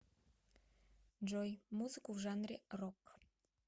джой музыку в жанре рок